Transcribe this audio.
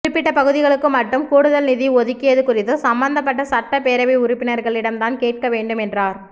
குறிப்பிட்ட பகுதிகளுக்கு மட்டும் கூடுதல் நிதி ஒதுக்கியது குறித்து சம்மந்தப்பட்ட சட்டப் பேரவை உறுப்பினரிடம் தான் கேட்கவேண்டும் என்றாா்